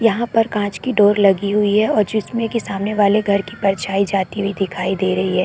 यहाँ पर कांच की डोर लगी हुई है और जिसमे की सामने वाली घर की परछाई जाती हुई दिख रही है।